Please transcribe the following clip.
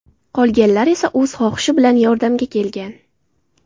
Qolganlar esa o‘z xohishi bilan yordamga kelgan.